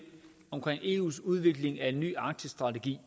i eus udvikling af en ny arktisk strategi